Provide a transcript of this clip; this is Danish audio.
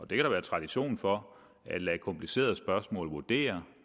der være tradition for hvor lader komplicerede spørgsmål vurdere